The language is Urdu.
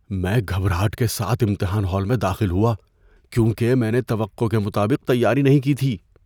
میں گھبراہٹ کے ساتھ امتحان ہال میں داخل ہوا کیونکہ میں نے توقع کے مطابق تیاری نہیں کی تھی۔